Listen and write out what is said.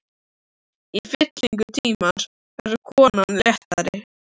Í fyllingu tímans verður konan léttari.